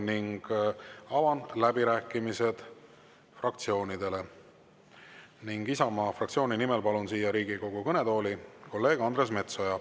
Avan läbirääkimised fraktsioonidele ning Isamaa fraktsiooni nimel palun Riigikogu kõnetooli kolleeg Andres Metsoja.